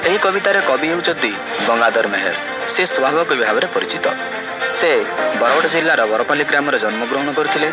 ଏହି କବିତାର କବି ହେଉଛନ୍ତି ଗଙ୍ଗାଧର ମେହେର। ସେ ସ୍ବଭାବ କବି ଭାବରେ ପରିଚିତ। ସେ ବରଗଡ଼ ଜିଲ୍ଲାର ବରପଲ୍ଲୀ ଗ୍ରାମରେ ଜନ୍ମଗ୍ରହଣ କରିଥିଲେ।